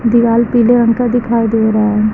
दीवाल पीले रंग का दिखाई दे रहा है।